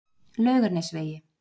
Laugarnesvegi